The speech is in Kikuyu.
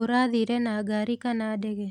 ũrathire na ngaari kana ndege?